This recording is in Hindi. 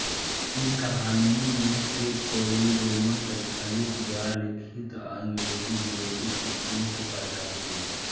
इन कहानियों में से कई रोमन कैथलिक द्वारा लिखित अंगरेज़ीविरोधी कृतियों से पैदा हुईं